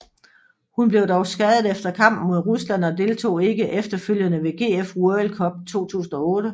Hun blev dog skadet efter kampen mod Rusland og deltog ikke efterfølgenden ved GF World Cup 2008